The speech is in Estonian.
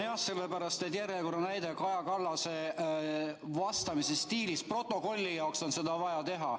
See on järjekordne näide Kaja Kallase vastamise stiilist, protokolli jaoks on vaja see ära märkida.